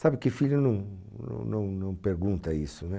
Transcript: Sabe que filho não não não pergunta isso, né?